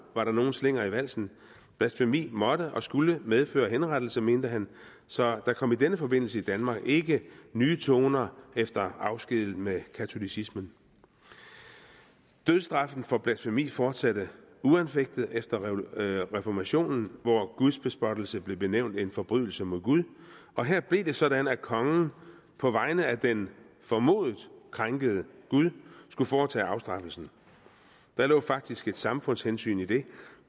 var der nogen slinger i valsen blasfemi måtte og skulle medføre henrettelse mente han så der kom i denne forbindelse i danmark ikke nye toner efter afsked med katolicismen dødsstraffen for blasfemi fortsatte uanfægtet efter reformationen hvor gudsbespottelse blev benævnt en forbrydelse mod gud og her blev det sådan at kongen på vegne af den formodet krænkede gud skulle foretage afstraffelsen der lå faktisk et samfundshensyn i det